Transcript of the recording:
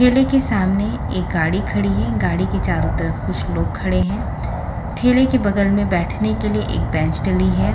ठेले के सामने एक गाड़ी खड़ी है गाड़ी के चारो तरफ कुछ लोग खड़े है ठेले के बगल में बैठने के लिए एक बेंच डली है.